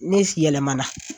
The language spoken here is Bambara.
Ne si yɛlɛmana